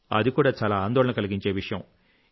అది కూడా చాలా ఆందోళన కలిగించే విషయం